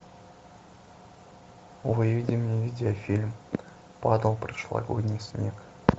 выведи мне видеофильм падал прошлогодний снег